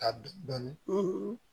Ka dɔn dɔni